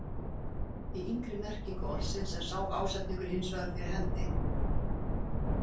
Í yngri merkingu orðsins er sá ásetningur hins vegar fyrir hendi.